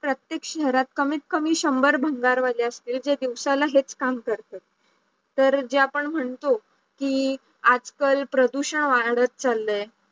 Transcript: प्रत्येक शहरात कमीत कमी शंभर भंगारवाले असतील जे दिवसाला हेच काम करतात तर जे आपण म्हणतो कि आजकाल प्रदूषण वाढत चाललंय